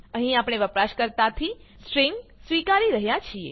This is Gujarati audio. અહીં આપણે વપરાશકર્તાથી સ્ટ્રિંગ સ્વીકારી રહ્યા છીએ